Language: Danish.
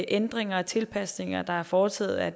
ændringer og tilpasninger der er foretaget af